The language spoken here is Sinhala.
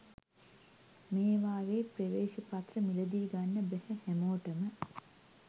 මේවායේ ප්‍රවේශපත්‍ර මිලදී ගන්න බැහැ හැමෝටම